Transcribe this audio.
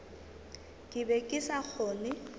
ke be ke sa kgone